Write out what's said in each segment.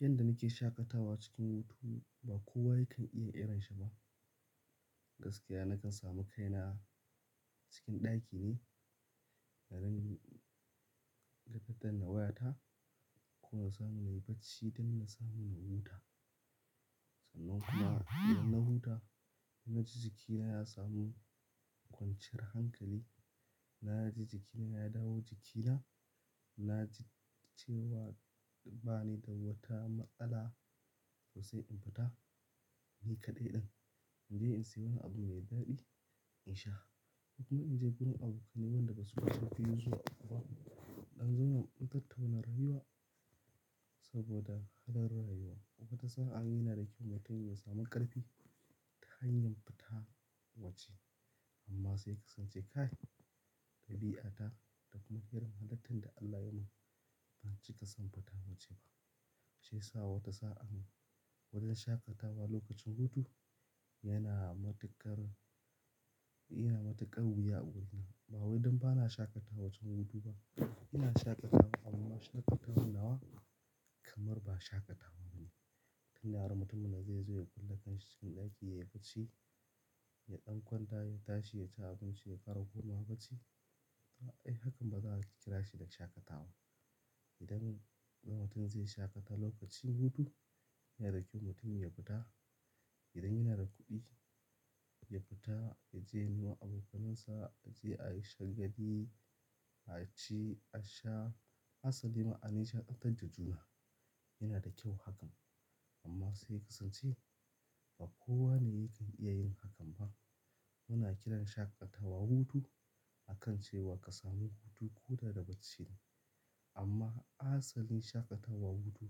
Yanda nake shaƙatawa cikin hutu ba kowa yake iya irin shi ba. Gaskiya nakan samu kaina cikin ɗaki ne, ranin-- da daddann wayata. Kuma na samu na yi bacci don na samu na huta. Sannan kuma idan na huta, na ji jikina ya samu kwanciyar hankali. Na ji jikina ya dawo jikina. Na ji cewa ba ni da wata matsala to sai in fita. Ni kaɗai ɗin in je in sayi wani abu mai daɗi in sha. Kuma in je wurin abokai ne waɗanda ba su fice biyu zuwa uku ba. Mu dan zauna mu dan tattauna rayuwa saboda halin rayuwa. Wata sa'a yana da kyau mutum ya samu ƙarfi ta hanyar fita waje. Amma sai ka sance kai, dabi'ata da kuma ƙirar halattar da Allah yayi min. Ban cika son fita waje ba. Shi yasa wata sa'an wajen shaƙatawa lokacin hutu yana matuƙar, yana matuƙar wuya wurina. Ba wai don ba na shaƙatawa wajen hutu ba. Ina shaƙatawa amma shaƙatawar nawa kamar ba shaƙatawa bane. Tun yaran mutumin da zai zo ya kulle kanshi cikin ɗaki ya yi bacci, ya ɗan kwanta, ya tashi ya ci abinci ya ƙara komawa bacci. To ai hakan ba za a kira shi da shaƙatawa. Idan ɗan mutum zai shaƙata lokacin hutu yana da kyau mutum ya fita. Idan yana da kuɗi ya fita ya je ya nuna abokanansa, ya je Aisha gadi, a ci, a sha. Asalin ma'anar shan abin jajuna yana da kyau hakan. Amma sai ka san cewa ba kowa ne yake iya yin hakan ba. Muna kiran shaƙatawa hutu akan cewa ka samu hutu ko da da bacci ne. Amma asalin shaƙatawa hutu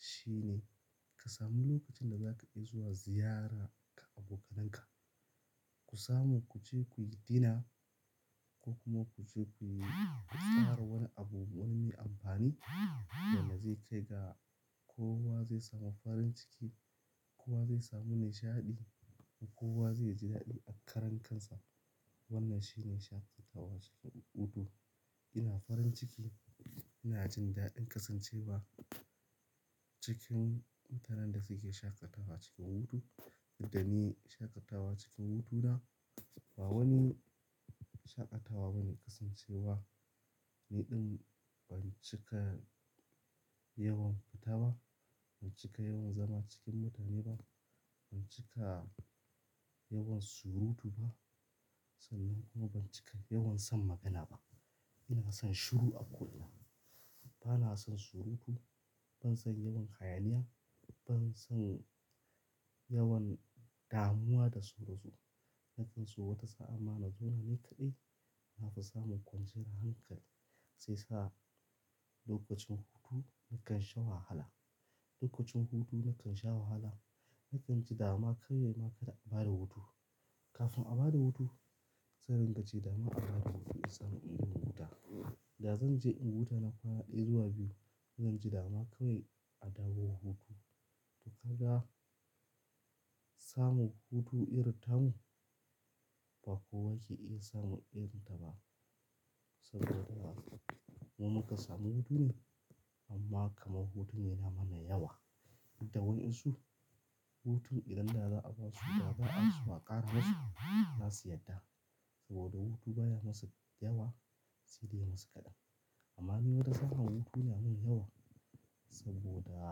shine ka samu lokacin da za ka iya zuwa ziyara ka abokananka. Ku samu ku je ku yi dina ko kuma ku je ku ƙara wani abu wani mai amfani wanda zai kai ga kowa zai samu farin ciki. Kowa zai samu nishaɗi kuma kowa zai ji daɗi a karan kansa. Wannan shine shaƙatawa cikin hutu. Ina farin ciki, ina jin daɗin ƙasancewa cikin mutanen da suke shaƙatawa cikin hutu. Yadda ni shaƙatawa cikin hutuna ba wani shaƙatawa bane ƙasancewa ni ɗin ban cika yawan fita ba, ban cika yawan zama cikin mutane ba, ban cika yawan surutu ba. Sannan kuma ban cika yawan son magana ba. Ina son shiru a kullum. Bana son surutu, ban son yawan hayaniya, ban son yawan damuwa da sauran su o wata sa'n mana zona ni kaɗai. Na fi samun kwanciyar hankali. Sai sa lokacin hutu nakan sha wahala. Lokacin hutu nakan sha wahala. Nakan ji dama kawai ma kada a bada hutu. Kafin a bada hutu zan ringa ce dama a bada hutu in samu in huta. Da zan je in huta na kwana ɗaya zuwa biyu zan ji dama kawai a dawo hutu. To ka ga samun hutu irin tamu ba kowa ke iya samun irin ta ba. Saboda. Mu muka samu hutu ne amma kamar hutun yana mana yawa. Inda wa'yansu hutun idan da za'a basu da za'a karaso za su yadda. Saboda hutu baya masu yawa sai dai masa kaɗan. Amma ni wata sa'a hutu yana min yawa saboda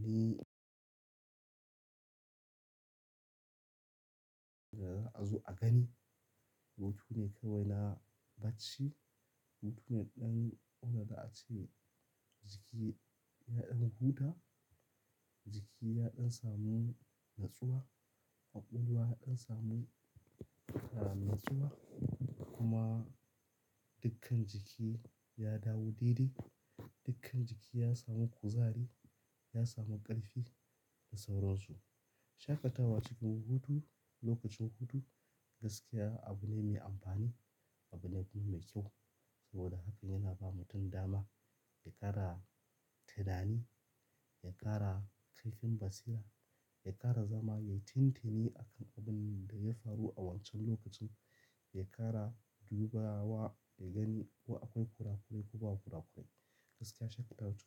ni da za'a zo a gani. Hutu ne kawai na bacci. Hutu ne ɗan ko da za'a a ce jiki ya ɗan huta. Jiki ya ɗan samu natsuwa. Kwakwalwa ya ɗan samu ƙara natsuwa kuma dukkan jiki ya dawo daidai. Dukkan jiki ya samu kuzari, ya samu ƙarfi da sauransu. Shaƙatawa cikin hutu lokacin hutu gaskiya abu ne mai amfani. Abu ne kuma mai kyau. Saboda hakan yana ba mutum dama ya ƙara tunani, ya ƙara kaifin basira, ya ƙara zama ya yi tintini akan abunda ya faru a wancan lokacin. Ya ƙara dubawa da gani ko akwai kura-kurai ko ba kura-kurai. Gaskiya shaƙatawa ta.